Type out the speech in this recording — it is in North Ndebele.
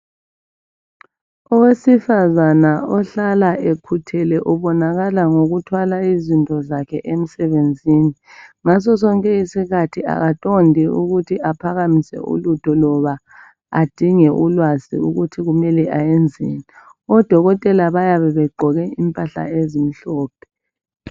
Owesifazana ohlala ekhuthele ubonakala ngokuhlala ethwele izinto zakhe emsebenzini ngaso sonke isikhathi akadondi kwesinye isikhathi. Odokotela bayabe begqoke impahla ezimhlophe.